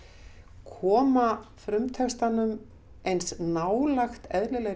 koma frumtextanum eins nálægt eðlilegri